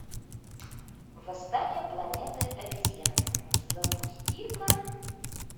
восстание планеты обезьян запусти ка